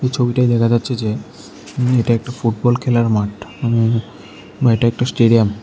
এই ছবিটায় দেখা যাচ্ছে যে উম এটা একটা ফুটবল খেলার মাঠ উম বা এটা একটা স্টেডিয়াম ।